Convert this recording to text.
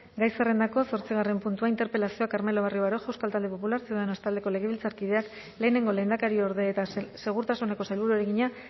gai zerrendako zortzigarren puntua interpelazioa carmelo barrio baroja euskal talde popular ciudadanos taldeko legebiltzarkideak lehenengo lehendakariorde eta segurtasuneko sailburuari egina